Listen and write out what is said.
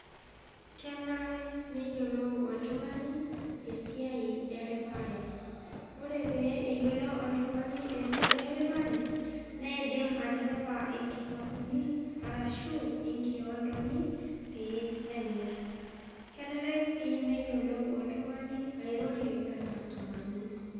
kenare neyiolou oltung'ani esiai eripare, ore pee eyiolou oltung'ani esiai eripare neidim atiripa inkikapuni arashu inkiondoni pee emir. Kenare sii neyiolou oltung'ani airorie enkastomani.